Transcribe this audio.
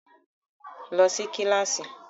Lọ sí kíláàsì!